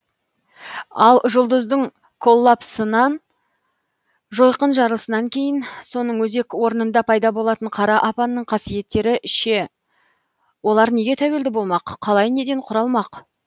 ал жұлдыздың коллапсынан жойқын жарылысынан кейін соның өзек орнында пайда болатын қара апанның қасиеттері ше олар неге тәуелді болмақ қалай неден құралмақ